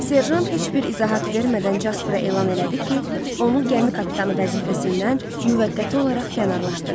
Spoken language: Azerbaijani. Serjant heç bir izahat vermədən Jaspara elan elədi ki, onu gəmi kapitanı vəzifəsindən müvəqqəti olaraq kənarlaşdırır.